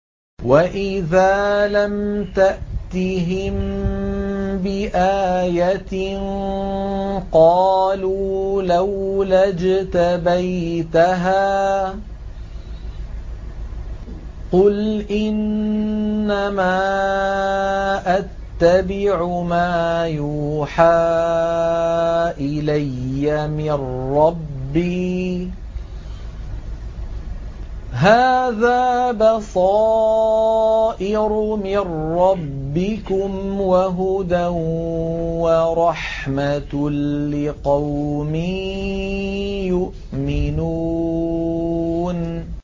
وَإِذَا لَمْ تَأْتِهِم بِآيَةٍ قَالُوا لَوْلَا اجْتَبَيْتَهَا ۚ قُلْ إِنَّمَا أَتَّبِعُ مَا يُوحَىٰ إِلَيَّ مِن رَّبِّي ۚ هَٰذَا بَصَائِرُ مِن رَّبِّكُمْ وَهُدًى وَرَحْمَةٌ لِّقَوْمٍ يُؤْمِنُونَ